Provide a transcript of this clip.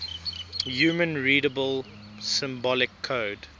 human readable symbolic code